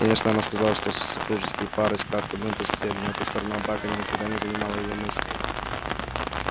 конечно она знала что супружеские пары спят в одной постели но эта сторона брака никогда не занимала её мыслей